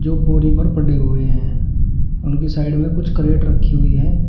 जो बोरी पर पड़े हुए हैं उनकी साइड में कुछ करेट रखी हुई है।